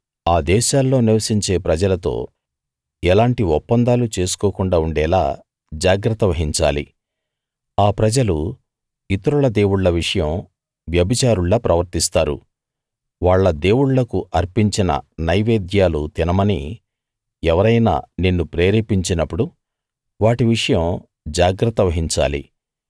ఆ దేశాల్లో నివసించే ప్రజలతో ఎలాంటి ఒప్పందాలు చేసుకోకుండా ఉండేలా జాగ్రత్త వహించాలి ఆ ప్రజలు ఇతరుల దేవుళ్ళ విషయం వ్యభిచారుల్లా ప్రవర్తిస్తారు వాళ్ళ దేవుళ్ళకు అర్పించిన నైవేద్యాలు తినమని ఎవరైనా నిన్ను ప్రేరేపించినప్పుడు వాటి విషయం జాగ్రత్త వహించాలి